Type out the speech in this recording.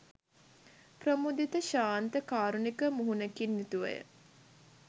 ප්‍රමුදිත, ශාන්ත, කාරුණික මුහුණකින් යුතුව ය.